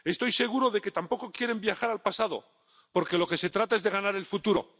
Estoy seguro de que tampoco quieren viajar al pasado, porque se trata de ganar el futuro.